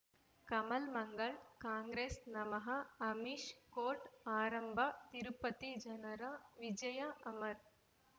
ಕಮಲ್ ಮಂಗಳ್ ಕಾಂಗ್ರೆಸ್ ನಮಃ ಅಮಿಷ್ ಕೋರ್ಟ್ ಆರಂಭ ತಿರುಪತಿ ಜನರ ವಿಜಯ ಅಮರ್